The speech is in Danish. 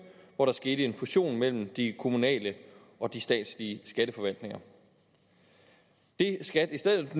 hvor der skete en fusion mellem de kommunale og de statslige skatteforvaltninger det skat i stedet